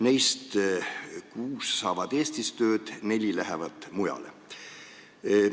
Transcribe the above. Neist kuus saavad Eestis tööd, neli lähevad mujale.